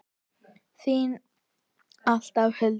Þín alltaf, Hulda.